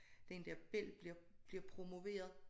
Den dér bel bliver bliver promoveret